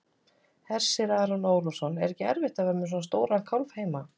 Hersir Aron Ólafsson: Er ekkert erfitt að vera með svona stóran kálf heima?